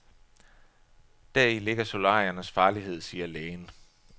Deri ligger solariernes farlighed, siger lægen.